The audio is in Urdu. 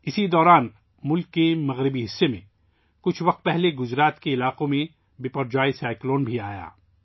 اسی دوران ، ملک کے مغربی حصے میں، بپرجوئے سائیکلون کچھ عرصہ قبل گجرات کے علاقوں سے بھی ٹکرایا تھا